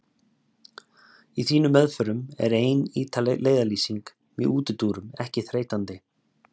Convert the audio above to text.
Í þínum meðförum er ein ítarleg leiðarlýsing með útúrdúrum ekki þreytandi.